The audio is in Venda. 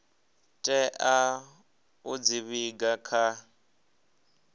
tea u dzi vhiga kha